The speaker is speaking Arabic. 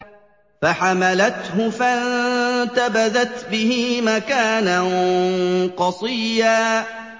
۞ فَحَمَلَتْهُ فَانتَبَذَتْ بِهِ مَكَانًا قَصِيًّا